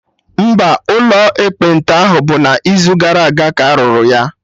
Mba, ụlọ ekpenta ahụ bụ n'izugara aga ka arụrụ ya